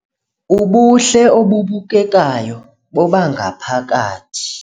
Ubuhle obubukekayo bobangaphakathi